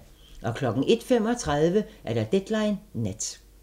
01:35: Deadline Nat